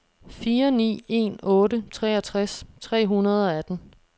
fire ni en otte treogtres tre hundrede og atten